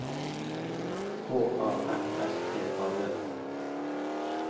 H A F S T A D